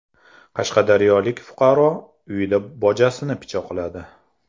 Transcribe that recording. Qashqadaryolik fuqaro uyida bojasini pichoqladi.